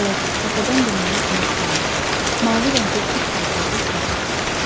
Balaca, təpədən dırnağa kimi islanmış, mavi rəngli cüt paltarlı kimsə.